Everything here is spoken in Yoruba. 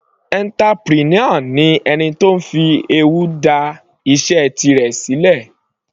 Entrepreneur ni ẹni tó fi ewu dá iṣẹ́ tirẹ̀ sílẹ̀.